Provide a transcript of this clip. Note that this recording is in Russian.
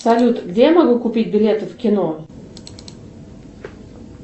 салют где я могу купить билеты в кино